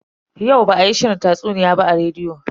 Yau ba a yi shirin tatsuniya ba a rediyo.